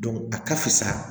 a ka fisa